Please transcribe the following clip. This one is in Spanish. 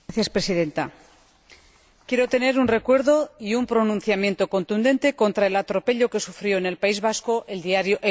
Señora Presidenta, quiero manifestar un recuerdo y un pronunciamiento contundente contra el atropello que sufrió en el País Vasco el diario